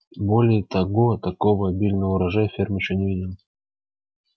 более того такого обильного урожая ферма ещё не видела